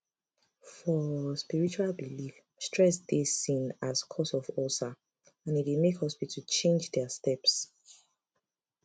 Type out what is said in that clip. for spiritual belief stress dey seen as cause of ulcer and e dey make hospital change their steps